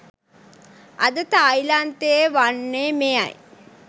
අද තායිලන්තයේ වන්නේ මෙයයි